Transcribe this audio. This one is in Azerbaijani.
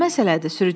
Nə məsələdir?